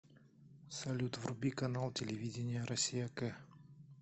салют вруби канал телевидения россия к